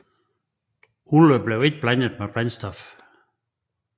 Olien blev ikke blandet med brændstof